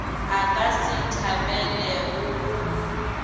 a ka se thabelego go